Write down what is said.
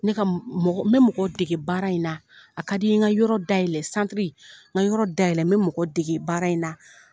N bɛ ka n bɛ mɔgɔ dege baara in na a ka di n ye ka yɔrɔ dayɛlɛ santiri n ka yɔrɔ dayɛlɛ n bɛ mɔgɔ dege baara in na.